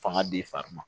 Fanga d'i fari ma